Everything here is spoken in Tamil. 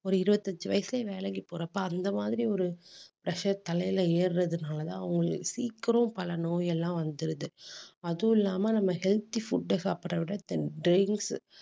ஒரு இருபத்தஞ்சு வயசுலயே வேலைக்கு போறப்ப அந்த மாதிரி ஒரு pressure தலையில ஏறுறதுனாலதான் அவங்களுக்கு சீக்கிரம் பல நோயெல்லாம் வந்துடுது. அதுவும் இல்லாம நம்ம healthy food அ சாப்பிடுறதை விட then drinks